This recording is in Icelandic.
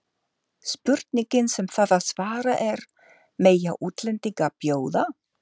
Spurningin sem þarf að svara er: Mega útlendingar bjóða?